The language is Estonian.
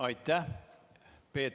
Aitäh!